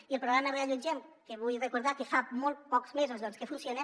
i el programa reallotgem que vull recordar que fa molt pocs mesos que funciona